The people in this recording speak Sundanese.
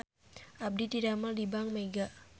Abdi didamel di Bank Mega